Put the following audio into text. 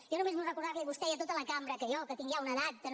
jo només vull re·cordar·li a vostè i a tota la cambra que jo que tinc ja una edat que no